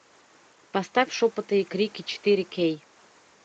поставь шепоты и крики четыре кей